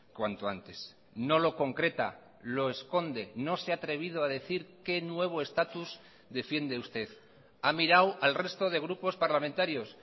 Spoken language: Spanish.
cuanto antes no lo concreta lo esconde no se ha atrevido a decir qué nuevo estatus defiende usted ha mirado al resto de grupos parlamentarios